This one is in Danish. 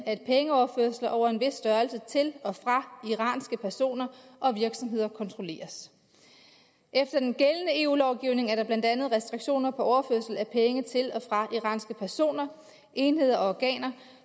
at pengeoverførsler over en vis størrelse til og fra iranske personer og virksomheder kontrolleres efter den gældende eu lovgivning er der blandt andet restriktioner på overførsel af penge til og fra iranske personer enheder og organer